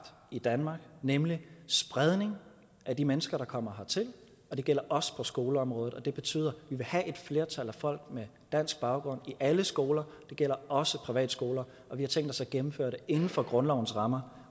i danmark nemlig spredning af de mennesker der kommer hertil og det gælder også på skoleområdet det betyder at vil have et flertal af folk med dansk baggrund i alle skoler det gælder også privatskoler og vi har tænkt os at gennemføre det inden for grundlovens rammer